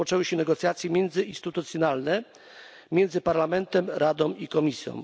rozpoczęły się negocjacje międzyinstytucjonalne między Parlamentem, Radą i Komisją.